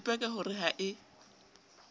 ipaka ho re ha e